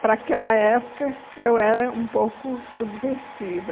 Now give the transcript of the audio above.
Para aquela época, eu era um pouco subversiva.